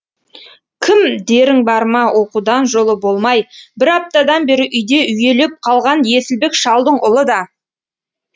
кім дерің бар ма оқудан жолы болмай бір аптадан бері үйде үйелеп қалған есілбек шалдың ұлы да